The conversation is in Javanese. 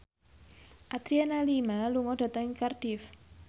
Adriana Lima lunga dhateng Cardiff